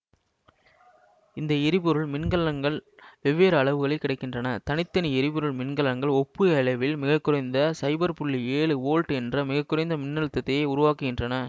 இந்த எரிபொருள் மின்கலன்கள் வெவ்வேறு அளவுகளில் கிடை கின்றன தனி தனி எரிபொருள் மின்கலன்கள் ஒப்புகையளவில் மிக குறைந்த சைபர் புள்ளி ஏழு வோல்ட் என்ற மிக குறைந்த மின்னழுத்தத்தையே உருவாக்குகின்றன